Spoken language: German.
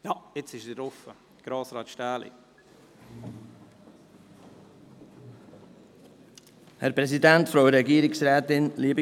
Ich gebe das Wort dem Sprecher der BiK, Grossrat Stähli.